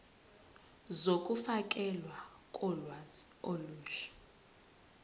zokufakelwa kolwazi olusha